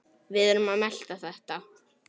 Við erum að melta þetta.